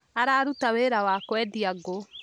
Araruta wĩra wa kũendia ngũ